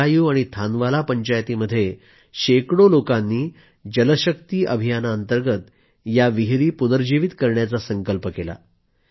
भद्रायू आणि थानवाला पंचायतीमध्ये शेकडो लोकांनी जलशक्ती अभियानाअंतर्गत या विहिरी पुनर्जीवित करण्याचा संकल्प केला